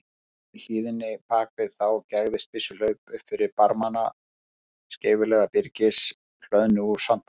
Í hlíðinni bak við þá gægðist byssuhlaup upp fyrir barma skeifulaga byrgis, hlöðnu úr sandpokum.